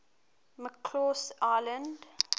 mccausland